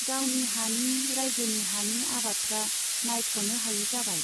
गावनि हानि , राइजोनि हानि आबादफ्रा नायख'नो हायै जाबाय।